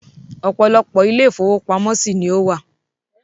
Ọ̀pọ̀lọpọ̀ Ilé ifówópamọ́ sí ni ó wà